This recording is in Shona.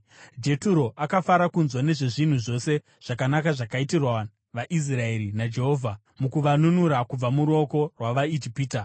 Jeturo akafara kunzwa nezvezvinhu zvose zvakanaka zvakaitirwa vaIsraeri naJehovha, mukuvanunura kubva muruoko rwavaIjipita.